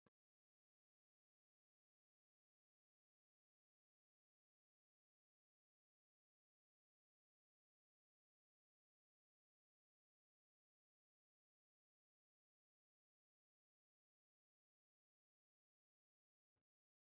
tenne misile aana noorina tini misile biiffanno garinni babaxxinno daniinni xawisse leelishanori isi maati yinummoro mancho duuchu danni mayiike diritte wodhitte nootti leelittanno offolitte